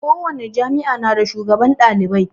Ko wani jami'a na da shugaban ɗalibai